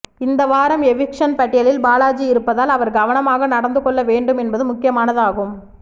இந்த வாரம் எவிக்சன் பட்டியலில் பாலாஜி இருப்பதால் அவர் கவனமாக நடந்து கொள்ள வேண்டும் என்பது முக்கியமானது ஆகும்